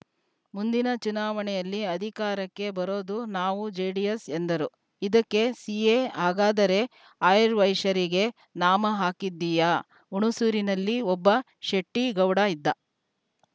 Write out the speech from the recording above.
ಮುಂದಿನ ಚುನಾವಣೆಯಲ್ಲಿ ಅಧಿಕಾರಕ್ಕೆ ಬರೋದು ನಾವುಜೆಡಿಎಸ್‌ ಎಂದರು ಇದಕ್ಕೆ ಸಿಎ ಹಾಗಾದರೆ ಆರ್ಯವೈಶ್ಯರಿಗೆ ನಾಮ ಹಾಕಿದ್ದೀಯಾ ಹುಣಸೂರಿನಲ್ಲಿ ಒಬ್ಬ ಶೆಟ್ಟಿಗೌಡ ಇದ್ದ